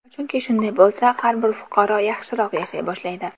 Chunki shunday bo‘lsa, har bir fuqaro yaxshiroq yashay boshlaydi.